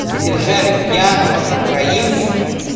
задержали пьяного украинца